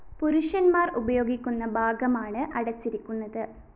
പുരുഷന്‍മാര്‍ ഉപയോഗിക്കുന്ന ഭാഗമാണ് അടച്ചിരിക്കുന്നത്